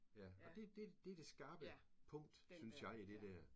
Ja og det det det det skarpe punkt synes jeg i det der